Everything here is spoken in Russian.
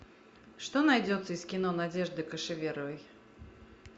что найдется из кино надежды кошеверовой